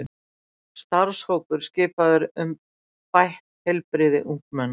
Starfshópur skipaður um bætt heilbrigði ungmenna